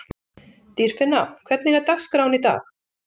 Dýrfinna, hvernig er dagskráin í dag?